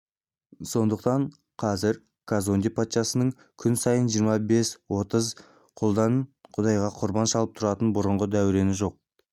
сондықтан қазір казонде патшасының күн сайын жиырма бес-отыз құлдан құдайға құрбан шалып тұратын бұрынғы дәурені жоқ